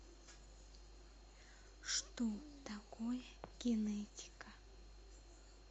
что такое генетика